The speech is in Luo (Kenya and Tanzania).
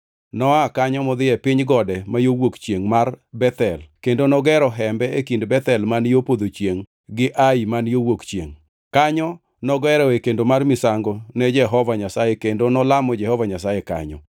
Noa kanyo modhi e piny gode ma yo wuok chiengʼ mar Bethel kendo nogero hembe e kind Bethel man yo podho chiengʼ to gi Ai man yo wuok chiengʼ. Kanyo nogeroe kendo mar misango ne Jehova Nyasaye kendo nolamo Jehova Nyasaye kanyo.